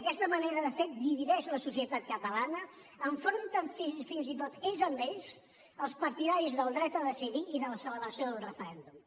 aquesta manera de fer divideix la societat catalana enfronten fins i tot ells amb ells els partidaris del dret a decidir i de la celebració d’un referèndum